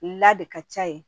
La de ka ca yen